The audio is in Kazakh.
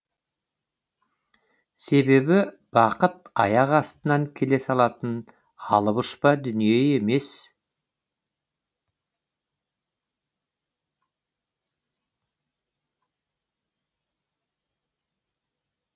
себебі бақыт аяқ астынан келе салатын алып ұшпа дүние емес